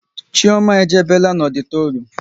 Chioma e jebela n'ọditorium